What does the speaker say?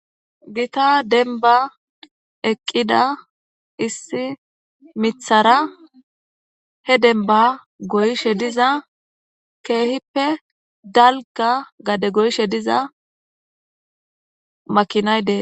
gita denba eqqida issi mithara he denba goyshe diza keehippe dalga gade goyshe diza makinayde